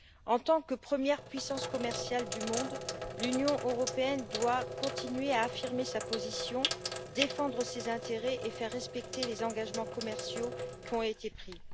En tant que première puissance commerciale du monde, l'Union européenne doit continuer à affirmer sa position, défendre ses intérêts et faire respecter les engagements commerciaux qui ont été pris.